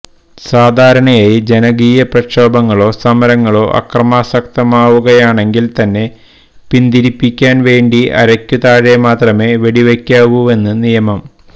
സാധാരണയായി ജനകീയ പ്രക്ഷോഭങ്ങളോ സമരങ്ങളോ അക്രമാസക്തമാവുകയാണെങ്കില് തന്നെ പിന്തിരിപ്പിക്കാന് വേണ്ടി അരയ്ക്കു താഴെ മാത്രമേ വെടിവയ്ക്കാവൂവെന്ന് നിയമം